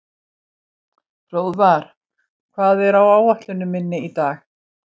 Hróðvar, hvað er á áætluninni minni í dag?